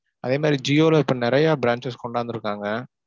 அதே மாதிரி ஜியோல இப்ப நெறைய branches கொண்டு வந்துர்க்காங்க.